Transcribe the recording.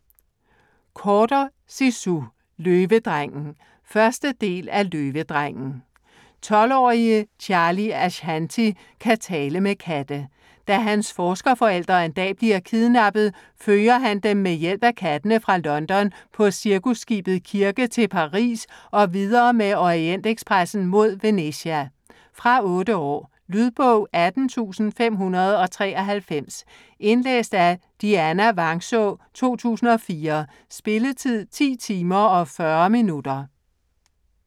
Corder, Zizou: Løvedrengen 1. del af Løvedrengen. 12-årige Charlie Ashanti kan tale med katte. Da hans forskerforældre en dag bliver kidnappet, følger han dem med hjælp fra kattene fra London på cirkusskibet Kirke til Paris og videre med Orientekspressen mod Venezia. Fra 8 år. Lydbog 18593 Indlæst af Dianna Vangsaa, 2004. Spilletid: 10 timer, 40 minutter.